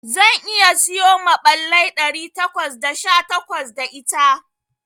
Zan iya siyo maɓallai ɗari takwas da sha takwas da ita.